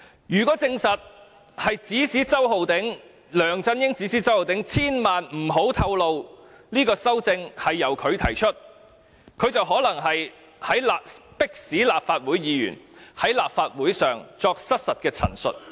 如果證實，梁振英指使周浩鼎議員，千萬不要透露修訂是他提出的，他便可能是迫使立法會議員在立法會上作失實陳述。